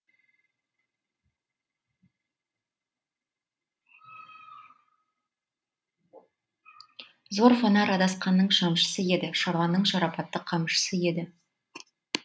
зор фанар адасқанның шамшысы еді шабанның шарапатты қамшысы еді